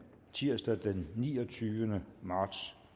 tirsdag den niogtyvende marts